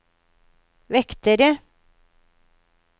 vektere